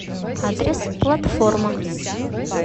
адрес платформа